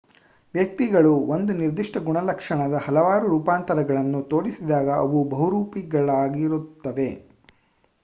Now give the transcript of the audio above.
ವ್ಯಕ್ತಿಗಳು ಒಂದು ನಿರ್ದಿಷ್ಟ ಗುಣಲಕ್ಷಣದ ಹಲವಾರು ರೂಪಾಂತರಗಳನ್ನು ತೋರಿಸಿದಾಗ ಅವು ಬಹುರೂಪಿಗಳಾಗಿರುತ್ತವೆ